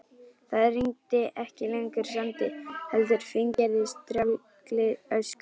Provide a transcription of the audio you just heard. Það rigndi ekki lengur sandi heldur fíngerðri strjálli ösku.